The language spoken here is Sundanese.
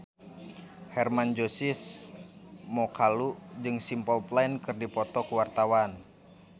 Hermann Josis Mokalu jeung Simple Plan keur dipoto ku wartawan